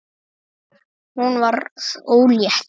Hún varð ólétt.